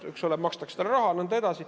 Eks ole, talle makstakse raha ja nõnda edasi.